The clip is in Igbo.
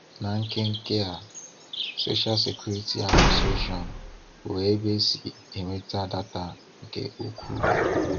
Na nke nke a, Social Security Administration bụ ebe e si enweta data nke ukwuu.